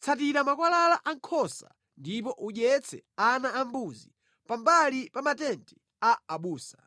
tsatira makwalala a nkhosa ndipo udyetse ana ambuzi pambali pa matenti a abusa.